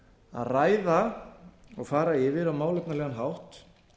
að ræða og fara yfir á málefnalegan hátt